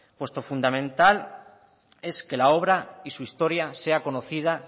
puesto que lo fundamental es que la obra y su historia sea conocida